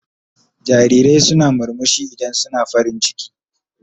Jarirai suna murmushi idan suna farin ciki.